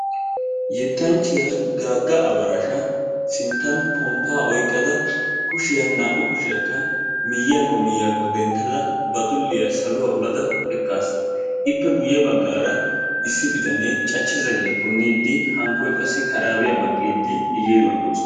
yetanchchiya gaaga abarashasha sintan kon'aa oyqqada ba kushiya naa'u kushiyakka miyiyaakko miyiyaakko dentada ba dulliya saluwa dentada eqaasu, ippe guye bagaara issi bitanaa cachcha zayiyaa puniidi hankkoy qassi karaabiya baqiidi i geeduwan doosona.